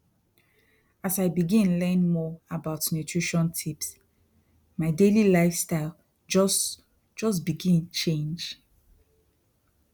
as i begin learn more about nutrition tips my daily lifestyle just just begin change